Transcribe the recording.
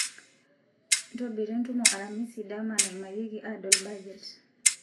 ntobira entumo aramisi dama naimarieki adol bajet